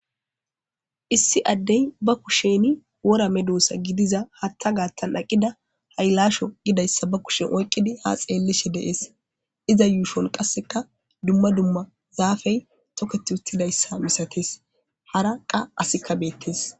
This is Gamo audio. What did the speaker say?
Issi addey ba kushen wora meddossa gidiza hatta gaattan aqida haylasho gidayssa ba kushen oyqqidi ha xeellishe de7es iza yuushon qasseka dumma dumma zaafey toketi uttidayssa misates hara qa asikka beettes.